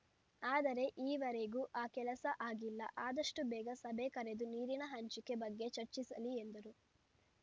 ಆದರೆ ಈವರೆಗೂ ಆ ಕೆಲಸ ಆಗಿಲ್ಲ ಆದಷ್ಟುಬೇಗ ಸಭೆ ಕರೆದು ನೀರಿನ ಹಂಚಿಕೆ ಬಗ್ಗೆ ಚರ್ಚಿಸಲಿ ಎಂದರು